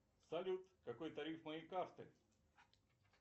салют какой тариф моей карты